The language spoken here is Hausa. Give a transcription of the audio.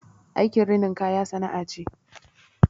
Aikin rinin kaya sana'a ce